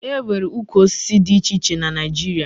E nwere ukwu osisi dị iche iche na Naịjirịa